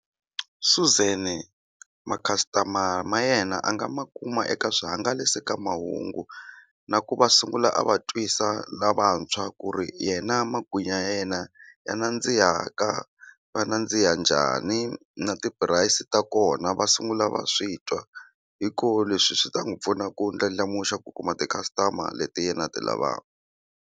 Suzan ma customer ma yena a nga ma kuma eka swihangalasamahungu na ku va sungula a va twisa lavantshwa ku ri yena magwinya ya yena ya nandziha ka ma nandziha njhani na ti-price ta kona va sungula va swi twa hi kona leswi swi ta n'wi pfuna ku ndlandlamuxa ku kuma ti-customer leti yena a ti lavaka.